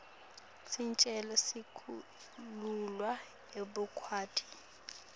sicelo sekukhululwa ekubhadaleni